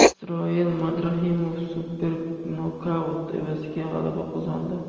Isroil Madrimov super nokaut evaziga g‘alaba qozondi.